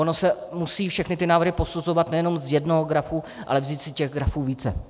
Ony se musí všechny ty návrhy posuzovat nejenom z jednoho grafu, ale vzít si těch grafů více.